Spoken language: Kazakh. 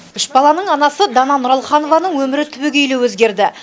үш баланың анасы дана нұралханованың өмірі түбегейлі өзгерді